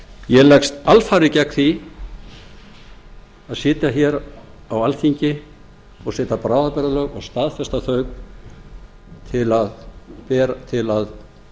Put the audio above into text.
ég leggst alfarið gegn því að sitja á alþingi og setja bráðabirgðalög og staðfesta þau til að